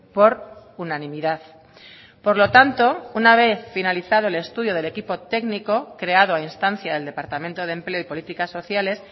por unanimidad por lo tanto una vez finalizado el estudio del equipo técnico creado a instancia del departamento de empleo y políticas sociales